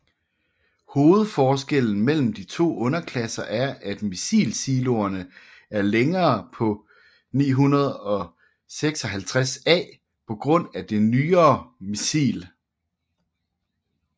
Hovedforskellen mellem de to underklasser er at missilsiloerne er længere på 956A på grund af det nyere missil